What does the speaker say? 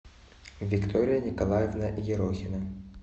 виктория николаевна ерохина